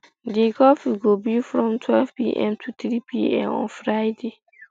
di curfew go be from um twelvepm to threepm on friday